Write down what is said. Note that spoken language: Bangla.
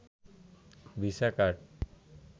visa card